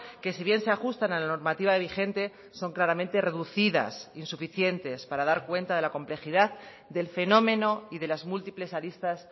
que si bien se ajustan a la normativa vigente son claramente reducidas insuficientes para dar cuenta de la complejidad del fenómeno y de las múltiples aristas